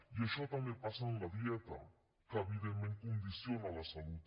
i això també passa en la dieta que evidentment condiciona la salut